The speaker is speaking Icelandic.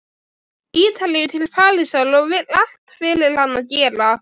Ítalíu til Parísar og vill allt fyrir hana gera.